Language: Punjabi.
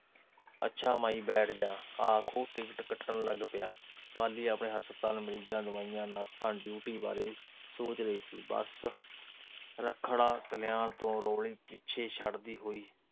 ਅੱਛਾ ਮਾਈ ਬੈਠ ਜਾ। ਆਖ ਉਹ ਟਿਕਟ ਕੱਟਣ ਲੱਗ ਪਿਆ। ਪਾਲੀ ਆਪਣੇ ਹਸਪਤਾਲ, ਮਰੀਜ਼ਾਂ, ਦਵਾਈਆਂ, ਨਰਸਾਂ, ਡਿਊਟੀ ਬਾਰੇ ਸੋਚ ਰਹੀ ਸੀ। ਬੱਸ ਰੱਖੜਾ, ਕਲਿਆਣ ਤੋਂ ਰੋਲੀ ਪਿੱਛੇ ਛੱਡਦੀ ਹੋਈ